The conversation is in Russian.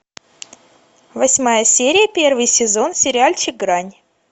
восьмая серия первый сезон сериальчик грань